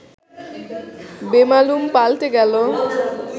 বেমালুম পাল্টে গেল